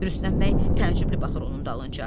Rüstəm bəy təəccüblü baxır onun dalınca.